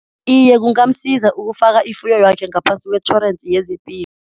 Iye, kungamsiza ukufaka ifuyo yakhe ngaphasi kwetjhorensi yezepilo.